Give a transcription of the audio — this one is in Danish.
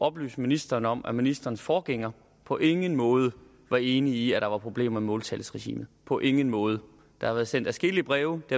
oplyse ministeren om at ministerens forgænger på ingen måde var enig i at der var problemer med måltalsregimet på ingen måde der har været sendt adskillige breve det